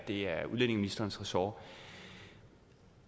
det er udlændingeministerens ressort